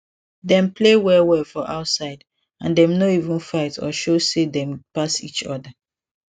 dem play well well for outside and dem no even fight or show say dem pass each other